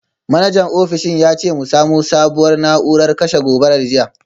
Manajan ofishin ya ce mu samo sabuwar na’urar kashe gobara jiya.